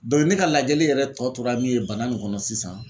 Dɔy ne ka lajɛli yɛrɛ tɔ tora min ye bana nin kɔnɔ sisan